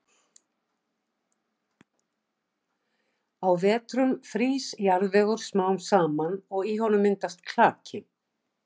Á vetrum frýs jarðvegur smám saman og í honum myndast klaki.